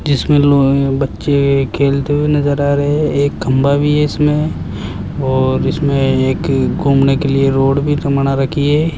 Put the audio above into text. जिसमें लो बच्चे खेलते हुए नजर आ रहे हैं एक खंभा भी है इसमें और इसमें एक घूमने के लिए रोड भी मना रखी है।